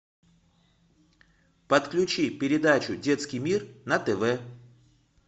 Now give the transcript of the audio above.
подключи передачу детский мир на тв